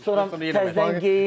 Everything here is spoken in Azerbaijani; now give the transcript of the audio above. Sonra təzədən geyin.